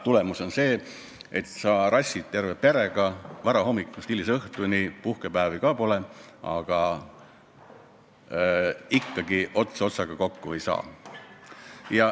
Tulemus on see, et sa rassid terve perega varahommikust hilisõhtuni, puhkepäevi ka pole, aga ikkagi ots otsaga kokku ei tule.